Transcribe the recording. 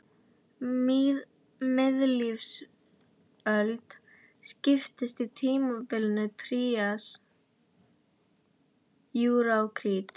Miðlífsöld skiptist í tímabilin trías, júra og krít.